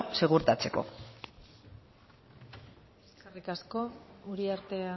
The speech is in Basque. segurtatzeko eskerrik asko uriarte